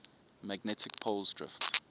magnetic poles drift